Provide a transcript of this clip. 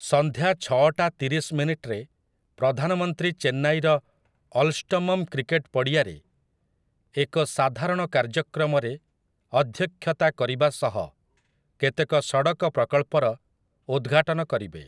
ସନ୍ଧ୍ୟା ଛଅଟା ତିରିଶ ମିନିଟରେ ପ୍ରଧାନମନ୍ତ୍ରୀ ଚେନ୍ନାଇର ଅଲ୍‍ଷ୍ଟମ୍ମ୍ କ୍ରିକେଟ ପଡ଼ିଆରେ ଏକ ସାଧାରଣ କାର୍ଯ୍ୟକ୍ରମରେ ଅଧ୍ୟକ୍ଷତା କରିବା ସହ କେତେକ ସଡ଼କ ପ୍ରକଳ୍ପର ଉଦଘାଟନ କରିବେ ।